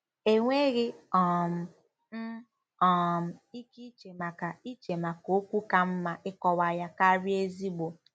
Enweghị um m um ike iche maka iche maka okwu ka mma ịkọwa ya karịa "ezigbo."